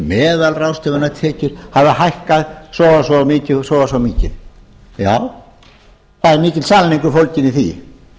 meðalráðstöfunartekjur hafi hækkað svo og svo mikið já það er mikill sannleikur fólginn í því